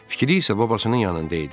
Fikri isə babasının yanında idi.